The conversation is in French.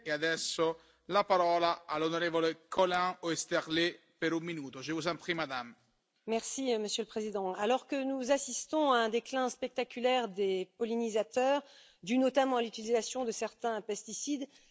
Monsieur le Président, alors que nous assistons à un déclin spectaculaire des pollinisateurs, dû notamment à l'utilisation de certains pesticides, cette proposition de résolution qui, sans aucun doute, sera votée demain, est essentielle puisqu'elle fixe